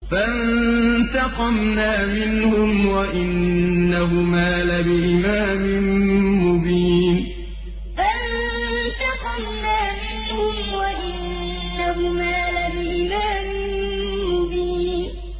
فَانتَقَمْنَا مِنْهُمْ وَإِنَّهُمَا لَبِإِمَامٍ مُّبِينٍ فَانتَقَمْنَا مِنْهُمْ وَإِنَّهُمَا لَبِإِمَامٍ مُّبِينٍ